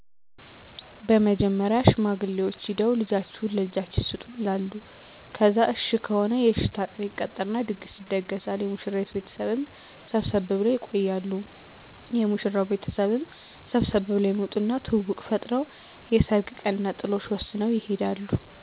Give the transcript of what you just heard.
በመጀመሪያ ሽማግሌዎች ሂደው ልጃችሁን ለልጃችን ስጡን ይላሉ ከዛ እሽ ከሆነ የእሽታ ቀን ይቀጠርና ድግስ ይደገሳል የሙሽራይቱ ቤተሰብም ሰብሰብ ብለው ይቆያሉ የሙሽራው ቤተሰብም ሰብሰብ ብለው ይመጡና ትውውቅ ፈጥረው የሰርግ ቀንና ጥሎሽ ወስነው ይሄዳሉ።